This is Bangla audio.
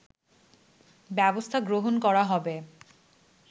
ব্যবস্থা গ্রহণ করা হবে